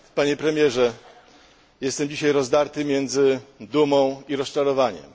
Panie Premierze! Jestem dzisiaj rozdarty pomiędzy dumą a rozczarowaniem.